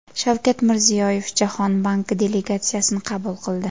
Shavkat Mirziyoyev Jahon banki delegatsiyasini qabul qildi.